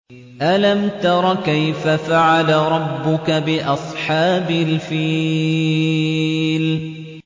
أَلَمْ تَرَ كَيْفَ فَعَلَ رَبُّكَ بِأَصْحَابِ الْفِيلِ